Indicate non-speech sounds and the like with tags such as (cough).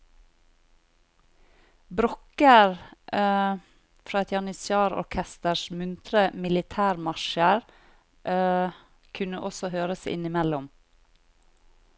Brokker (hesitation) fra et janitsjarorkesters muntre militærmarsjer (hesitation) kunne også høres innimellom.